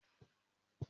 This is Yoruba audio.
mà á díje fún ipò aṣòfin.